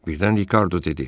Birdən Rikardo dedi: